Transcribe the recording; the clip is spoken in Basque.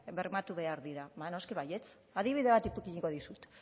bermatu behar dira ba noski baietz adibide bat ipiniko dizut